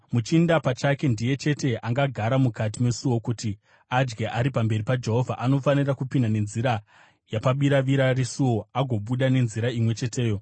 Muchinda pachake ndiye chete angagara mukati mesuo kuti adye ari pamberi paJehovha. Anofanira kupinda nenzira yapabiravira resuo agobuda nenzira imwe cheteyo.”